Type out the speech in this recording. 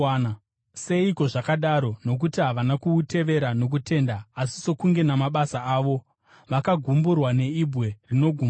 Seiko zvakadaro? Nokuti havana kuutevera nokutenda asi sokunge namabasa avo. Vakagumburwa neibwe “rinogumbusa.”